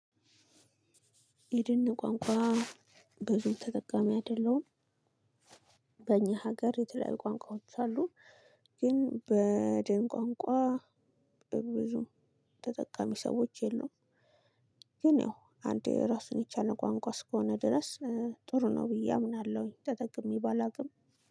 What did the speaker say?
የድን ቋንቋ ብዙ ተጠቃሚ አይደለሁም። በእኛ ሀገር የተለያዩ ቋንቋዎች አሉ። ግን በደን ቋንቋ በብዙ ተጠቃሚ ሰዎች የለውም። ግን ያው አንዴ ራሱን የቻለ ቋንቋ እስከሆነ ድረስ ጥሩ ነው ብዬ አምናለሁኝ። ተጠቅሜ ባላውቅም